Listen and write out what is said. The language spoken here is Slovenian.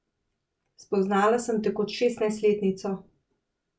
Spoznala sem te kot šestnajstletnico.